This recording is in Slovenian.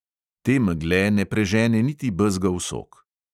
Te megle ne prežene niti bezgov sok.